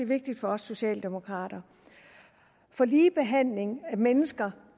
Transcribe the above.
vigtigt for os socialdemokrater lige behandling af mennesker